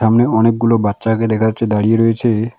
সামনে অনেকগুলো বাচ্চাকে দেখা যাচ্ছে দাঁড়িয়ে রয়েছে।